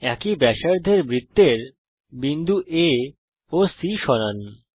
একই ব্যাসার্ধের বৃত্তের বিন্দু A ও C সরান